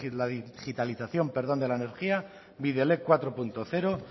la digitalización de la energía bidelek cuatro punto cero